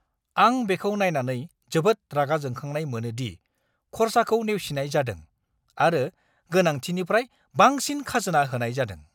आं बेखौ नायनानै जोबोद रागा जोंखांनाय मोनो दि खरसाखौ नेवसिनाय जादों, आरो गोनांथिनिफ्राय बांसिन खाजोना होनाय जादों।